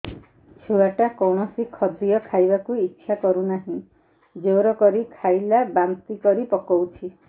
ଛୁଆ ଟା କୌଣସି ଖଦୀୟ ଖାଇବାକୁ ଈଛା କରୁନାହିଁ ଜୋର କରି ଖାଇଲା ବାନ୍ତି କରି ପକଉଛି